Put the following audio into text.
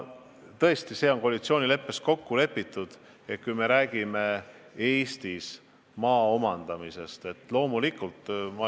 Tõesti, see on koalitsioonileppes kokku lepitud, kui jutt on Eestis maa omandamisest.